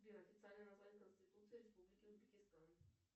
сбер официальное название конституции республики узбекистан